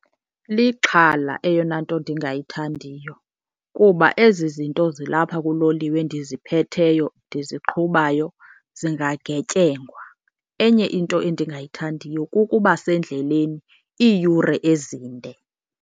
Lixhala eyona nto ndingayithandiyo, kuba ezi zinto zilapha kuloliwe ndiziphetheyo ndiziqhubayo zingagetyengwa. Enye into endingayithandiyo kukuba sendleleni iiyure ezinde.